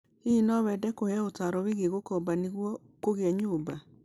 Hihi no wende kũheo ũtaaro wĩgiĩ gũkofa niguo kũgĩa nyũmba?